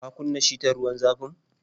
Ka kunna shitar ruwan zafin?